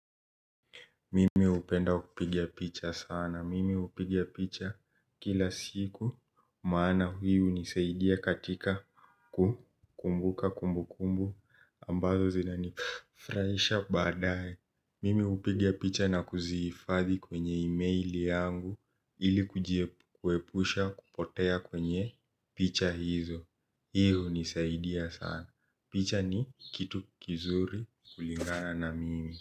Mimi hupenda kupiga picha sana. Mimi hupiga picha kila siku, maana hii hunisaidia katika kukumbuka kumbukumbu ambazo zinanifurahisha baadae. Mimi hupiga picha na kuzihifadhi kwenye emaili yangu ili kuepusha kupotea kwenye picha hizo. Hi hunisaidia sana. Picha ni kitu kizuri kulingana na mimi.